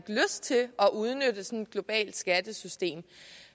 udnytte sådan et globalt skattesystem